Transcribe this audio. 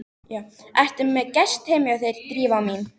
Ertu með gest hjá þér, Drífa mín?